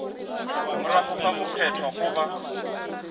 morago ga go kgethwa goba